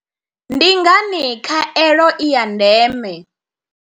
Ndi ngani khaelo i ya ndeme?